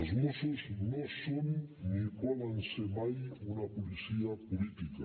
els mossos no són ni poden ser mai una policia política